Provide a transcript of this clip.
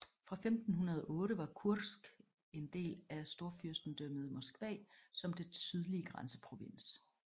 Fra 1508 var Kursk en del af Storfyrstedømmet Moskva som dets sydlige grænseprovins